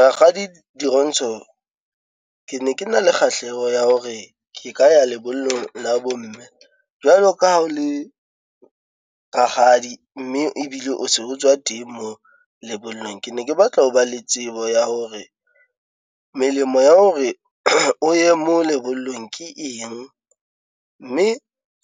Rakgadi Dirontsho, ke ne ke na le kgahleho ya hore ke ka ya lebollong la bo mme. Jwalo ka ha o le rakgadi mme ebile o se o tswa teng moo lebollong. Ke ne ke batla ho ba le tsebo ya hore melemo ya hore o ye mo lebollong ke eng? Mme